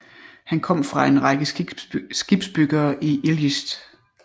Han kom fra en række skibsbyggere i IJlst